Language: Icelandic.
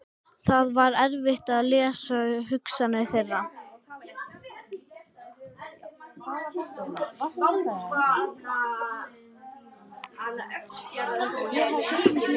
Það var erfitt að lesa hugsanir þeirra.